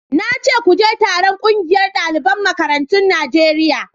na ce ku je taron ƙungiyar daliban makarantun Najeriya